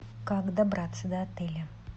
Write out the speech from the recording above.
как добраться до отеля